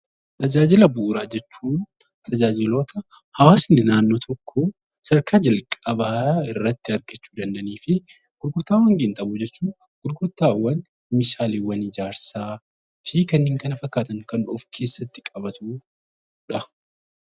Tajaajila bu'uuraa jechuun tajaajiloota hawaasni naannoo tokkoo sadarkaa jalqabaa irratti argachuu danda'anii fi gurgurtaawwan qinxaaboo jechuun gurgurtaawwan meeshaaleewwan ijaarsaa fi kanneen kana fakkaatan kan of keessatti qabatudha.